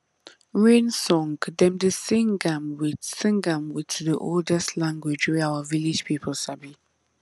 rain song dem dey sing am with sing am with the oldest language wey our village people sabi